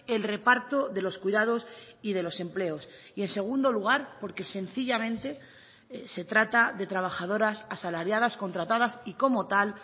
el reparto de los cuidados y de los empleos y en segundo lugar porque sencillamente se trata de trabajadoras asalariadas contratadas y como tal